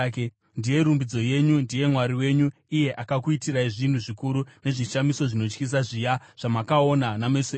Ndiye rumbidzo yenyu; ndiye Mwari wenyu, iye akakuitirai zvinhu zvikuru nezvishamiso zvinotyisa zviya zvamakaona nameso enyu.